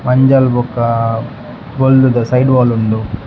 ಮಂಜಲ್ ಬೊಕ ಬೊಲ್ದುದ ಸೈಡ್ ವಾಲ್ ಉಂಡು .